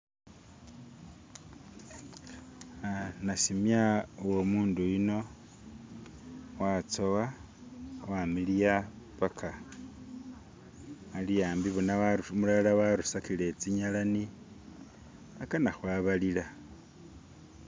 ah nashimya uwo mundu yuno watsowa wamiliya paka aliyambi bona umulala warusakile tsinyelani akana hwabalila